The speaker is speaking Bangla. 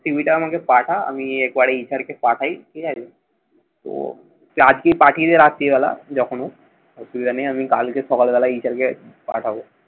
CV টা আমাকে পাঠা। আমি query স্যারকে পাঠাই। ঠিক আছে। তো পাঠিয়ে দে রাত্রিবেলা। যখনও আমি কালকে সকালবেলা এইচআরকে পাঠাবো।